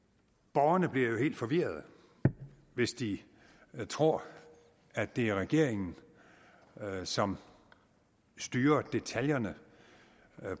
borgerne bliver jo helt forvirrede hvis de tror at det er regeringen som styrer detaljerne